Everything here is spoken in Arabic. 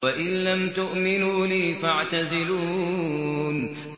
وَإِن لَّمْ تُؤْمِنُوا لِي فَاعْتَزِلُونِ